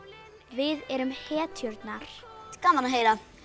við erum hetjurnar gaman að heyra